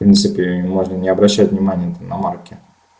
в принципе я ни разу обращал внимания-то на марки